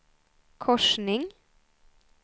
korsning